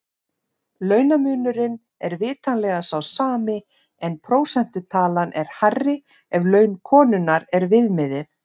Launamunurinn er vitanlega sá sami en prósentutalan er hærri ef laun konunnar er viðmiðið.